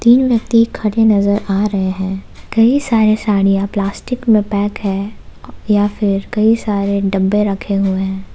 तीन व्यक्ति खड़े नजर आ रहे हैं कई सारे साड़ियां प्लास्टिक में पैक है या फिर कई सारे डब्बे रखे हुए हैं।